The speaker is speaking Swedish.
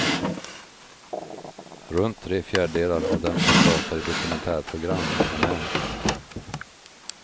Runt tre fjärdedelar av dem som pratar i dokumentärprogram är män.